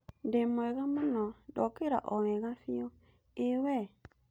Ndĩ mwega mũno, ndokĩra o wega biũ, ĩĩ we?